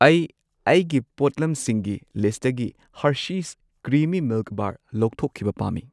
ꯑꯩ ꯑꯩꯒꯤ ꯄꯣꯠꯂꯝꯁꯤꯡꯒꯤ ꯂꯤꯁꯠꯇꯒꯤ ꯍꯔꯁꯤꯁ ꯀ꯭ꯔꯤꯃꯤ ꯃꯤꯜꯛ ꯕꯥꯔ ꯂꯧꯊꯣꯛꯈꯤꯕ ꯄꯥꯝꯃꯤ꯫